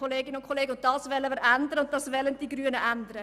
Wir wollen das ändern und die Grünen werden es ändern: